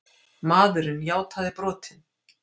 Maðurinn játaði brotin